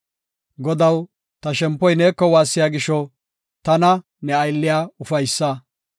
Godaw, ta shempoy neeko waassiya gisho, tana, ne aylliya ufaysa.